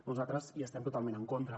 nosaltres hi estem totalment en contra